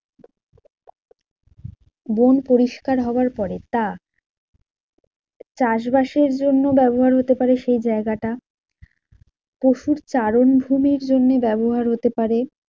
বন পরিষ্কার হাওয়ার পরে তা চাষবাসের জন্য ব্যাবহার হতে পারে সেই জায়গাটা। পশুর চারণভূমির জন্যে ব্যবহার হতে পারে।